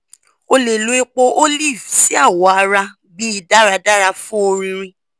o le lo epo olive si awọ ara bi daradara fun ọrinrin